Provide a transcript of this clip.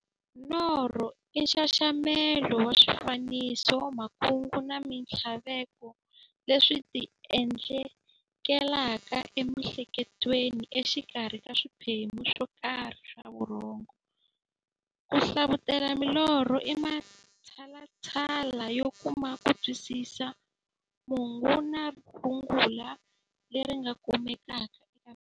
Norho i nxaxamelo wa swifaniso, makungu na minthlaveko leswi ti endlekelaka e mi'hleketweni exikarhi ka swiphemu swokarhi swa vurhongo. Ku hlavutela milorho i matshalatshala yo kuma kutwisisa mungo na rungula leri nga kumekaka eka milorho.